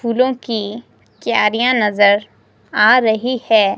फूलों की क्यारियां नजर आ रही है।